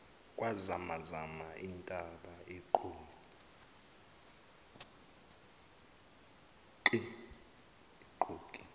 kwazamazama intaba iqokli